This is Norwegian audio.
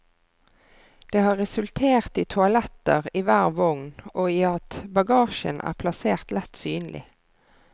Det har resultert i toaletter i hver vogn og i at bagasjen er plassert lett synlig.